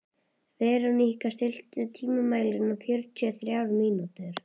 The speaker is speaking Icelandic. Veróníka, stilltu tímamælinn á fjörutíu og þrjár mínútur.